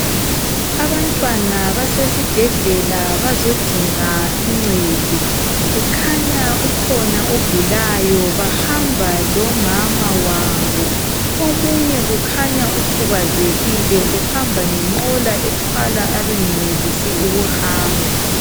Abantwana basesibhedlela bazodinga uncedo. Kukhanya ukhona ogulayo. Bahamba lomama wabo. Omunye kukhanya ukhubazekile uhamba ngenqola ethwala abangenelisi ukuhamba.